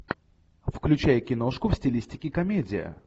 включай киношку в стилистике комедия